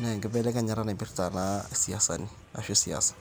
naa enkibelekenyata naipirta isiasani ashu siasa.